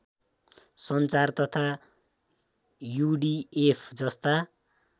सञ्चार तथा युडिएफ जस्ता